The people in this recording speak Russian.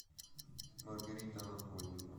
маргарита анатольевна